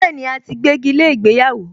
Bẹ́ẹ̀ni, a ti gbégi lé ìgbéyàwó